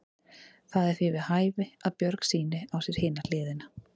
Það er því við hæfi að Björg sýni á sér hina hliðina.